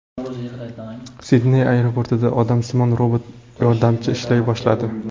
Sidney aeroportida odamsimon robot yordamchi ishlay boshladi .